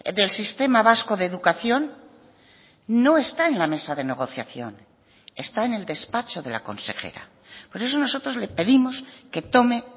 del sistema vasco de educación no está en la mesa de negociación está en el despacho de la consejera por eso nosotros le pedimos que tome